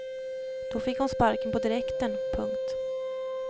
Då fick hon sparken på direkten. punkt